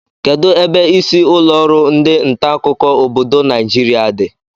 Kedụ ebe isi ụlọrụ ndị ntaakụkọ obodo Naijiria dị?